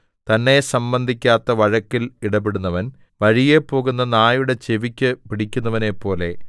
തന്നെ സംബന്ധിക്കാത്ത വഴക്കിൽ ഇടപെടുന്നവൻ വഴിയെപോകുന്ന നായുടെ ചെവിക്ക് പിടിക്കുന്നവനെപ്പോലെ